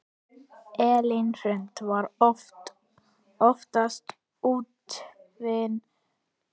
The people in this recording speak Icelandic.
Elín Hrund var oftast úfin.